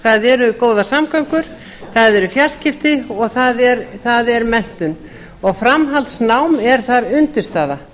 það eru góðar samgöngur það eru fjarskipti og það er menntun og framhaldsnám er þar undirstaða